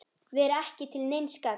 Vera ekki til neins gagns.